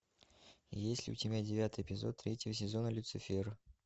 есть ли у тебя девятый эпизод третьего сезона люцифер